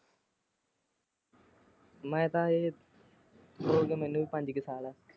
ਮੈਂ ਤਾਂ ਹਜੇ ਹੋ ਗਏ ਮੈਨੂ ਤੇ ਪੰਜ ਕੁ ਸਾਲ।